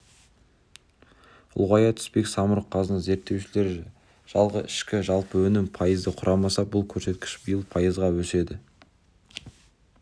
ұлғая түспек самұрық-қазына зерттеушілері жылғы ішкі жалпы өнім пайызды құраса бұл көрсеткіш биыл пайызға өседі